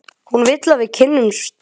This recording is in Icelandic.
Hún vill að við kynnumst betur.